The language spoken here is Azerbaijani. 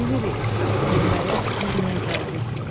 Bilirik, dünyaya biz niyə gəldik,